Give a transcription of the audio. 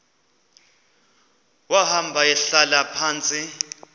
wahamba ehlala phantsi